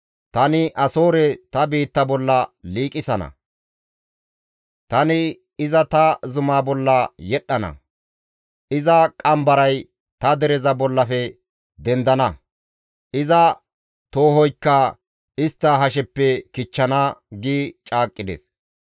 Tani Asoore ta biitta bolla liiqisana; tani iza ta zuma bolla yedhdhana; iza qambaray ta dereza bollafe dendana; iza toohoykka istta hasheppe kichchana» gi caaqqides.